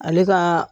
Ale ka